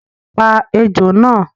Pa ejò náà